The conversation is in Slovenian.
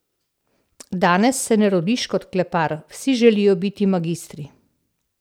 Danes se ne rodiš kot klepar, vsi želijo biti magistri.